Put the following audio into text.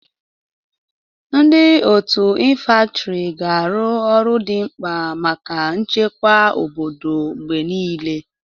Ndị otu infantri ga-arụ ọrụ dị mkpa maka nchekwa obodo mgbe niile.